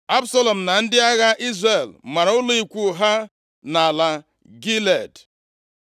Absalọm na ndị agha Izrel mara ụlọ ikwu ha nʼala Gilead.